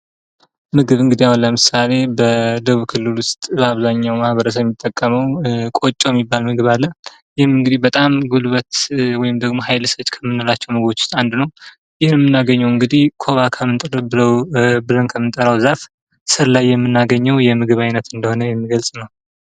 ምግብ እንግዲያው ለምሳሌ በደቡብ ክልል ውስጥ በአብዛኛው ማህበረሰብ የሚጠቀመው ቆጮ የሚባል ምግብ አለ። ይህም እንግዲህ ጉልበት በጣም ኃይል ሰጪ ከምንላቸው አንዱ ነው ።ይህንንም የምናገኘው እንግዲ ኮባ ብለን ከምንጠራው ዛፍ ስር ላይ የምናገኘው ምግብ እንደሆነ ግልጽ ነው።